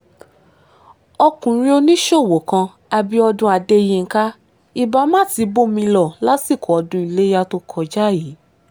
ọkùnrin oníṣòwò kan abiodun adéyinka ibà má ti bómi lọ lásìkò ọdún iléyà tó kọjá yìí